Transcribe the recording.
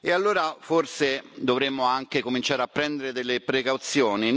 Allora forse dovremmo anche cominciare a prendere delle precauzioni.